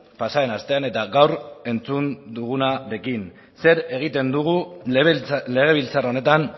pasaden astean eta gaur entzun dugunarekin zer egiten dugu legebiltzar honetan